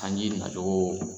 Sanji na cogo